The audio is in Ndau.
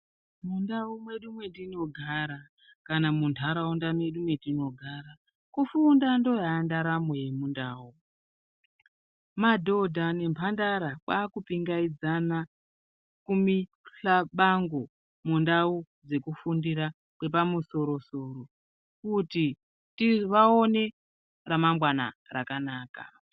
Mundau mwedu mwetinogara kana munharaunda mwedu mwetinogara kufunda ndoyandaramo yemundau, madhodha nemhandara kwakupingaidzana kumixhabango mundau dzekufundira kwepamusoro-soro kuti vaone remangwana rakanaka.